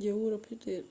je wuro petel